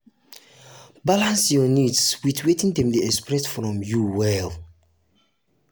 sometimes ex ten ded family go ask for help when dem really need am.